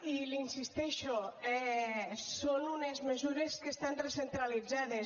i l’hi insisteixo són unes mesures que estan recentralitzades